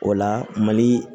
O la mali